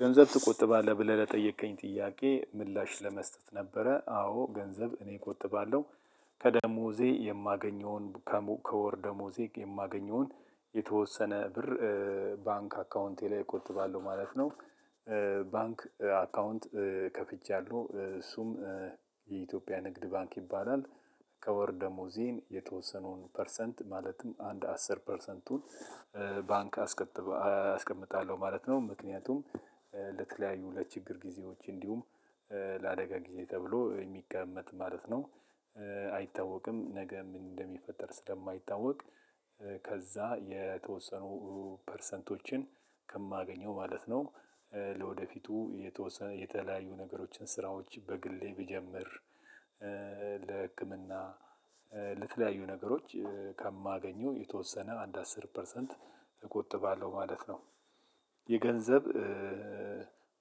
ገንዘብ ትቆጥባለህ ብለህ ለጠየከኝ ጥያቄ ምላሽ ለመስጠት ነበረ። አዎ ገንዘብ እኔ እቆጥባለሁ ከደሞዜ የማገኘውን ከወር ደሞዜ የማገኘውን የተወሰነ ብር ባንክ አካውንቴ ላይ እቆጥባለሁ ማለት ነው። ባንክ አካውንት ከፍቻለሁ እሱም የኢትዮጵያ ንግድ ባንክ ይባላል። ከወር ደሞዜም የተወሰነውን ፐርሰንት ማለትም አንድ አስር ፐርሰንቱን ባንክ አስከትባ አስቀምጣለሁ ማለት ነው። ምክንያቱም ለተለያዩ ለችግር ጊዜዎች እንዲሁም ለአደጋ ጊዜ ተብሎ የሚቀመጥ ማለት ነው። አይታወቅም ነገ ምን እንደሚፈጠር ስለማይታወቅ ከዛ የተወሰኑ ፐርሰንቶችን ከማገኘው ማለት ነው። ለወደፊቱ የተወሰነ የተለያዩ ነገሮችን ስራዎች በግሌ ብጀምር ለህክምና ለተለያዩ ነገሮች ከማገኘው የተወሰነ አንድ አስር ፐርሰንት እቆጥባለሁ ማለት ነው። የገንዘብ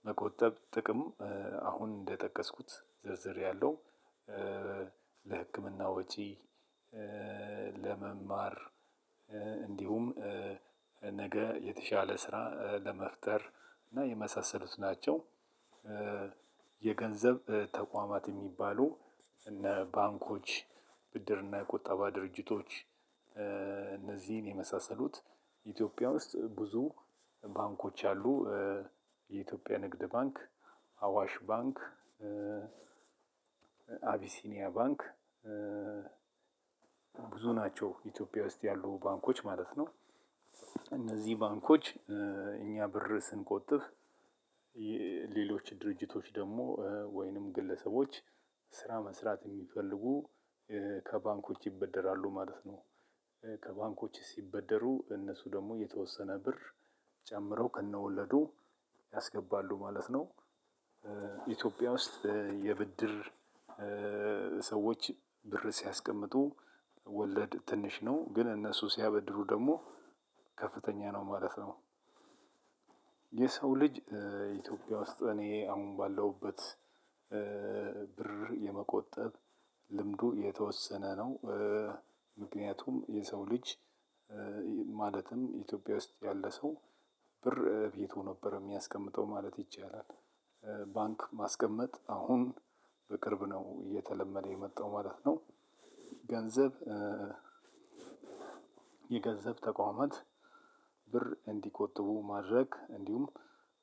መቆጠብ ጥቅም አሁን እንደጠቀስኩት ዝርዝር ያለው ለህክምና ወጪ ለመማር እንዲሁም ነገ የተሻለ ስራ ለመፍጠር እና የመሳሰሉት ናቸው። የገንዘብ ተቋማት የሚባሉ እነ ባንኮች ብድር እና የቁጠባ ድርጅቶች እነዚህን የመሳሰሉት ኢትዮጵያ ውስጥ ብዙ ባንኮች አሉ። የኢትዮጵያ ንግድ ባንክ አዋሽ ባንክ አቢሲኒያ ባንክ ብዙ ናቸው ኢትዮጵያ ውስጥ ያሉ ባንኮች ማለት ነው። እነዚህ ባንኮች እኛ ብር ስንቆጥብ ሌሎች ድርጅቶች ደግሞ ወይንም ግለሰቦች ስራ መስራት የሚፈልጉ ከባንኮች ይበደራሉ ማለት ነው። ከባንኮች ሲበደሩ እነሱ ደግሞ የተወሰነ ብር ጨምረው ከነ ወለዱ ያስገባሉ ማለት ነው። ኢትዮጵያ ውስጥ የብድር ሰዎች ብር ሲያስቀምጡ ወለድ ትንሽ ነው ግን እነሱ ሲያበድሩ ደግሞ ከፍተኛ ነው ማለት ነው። የሰው ልጅ ኢትዮጵያ ውስጥ እኔ አሁን ባለሁበት ብር የመቆጠብ ልምዱ የተወሰነ ነው። ምክንያቱም የሰው ልጅ ማለትም ኢትዮጵያ ውስጥ ያለ ሰው ብር ቤቱ ነበር የሚያስቀምጠው ማለት ይቻላል። ባንክ ማስቀመጥ አሁን በቅርብ ነው እየተለመደ የመጣው ማለት ነው። ገንዘብ የገንዘብ ተቋማት ብር እንዲቆጥቡ ማድረግ እንዲሁም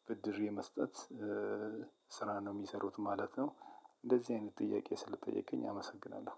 ብድር የመስጠት ስራ ነው የሚሰሩት ማለት ነው። እንደዚህ አይነት ጥያቄ ስለጠየቀኝ አመሰግናለሁ።